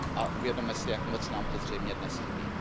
A uvědomme si, jak moc nám to zřejmě dnes chybí.